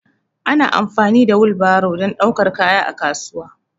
Ana amfani da wil baro dan daukar kaya a kasuwa